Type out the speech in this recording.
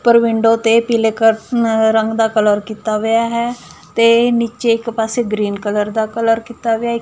ਪਰ ਵਿੰਡੋ ਤੇ ਪੀਲੇ ਕਰ ਅ ਰੰਗ ਦਾ ਕਲਰ ਕੀਤਾ ਵਇਆ ਹੈ ਤੇ ਨੀਚੇ ਇੱਕ ਪਾਸੇ ਗ੍ਰੀਨ ਕਲਰ ਦਾ ਕਲਰ ਕੀਤਾ ਵਿਆ --